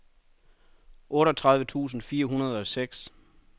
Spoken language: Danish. otteogtredive tusind fire hundrede og seks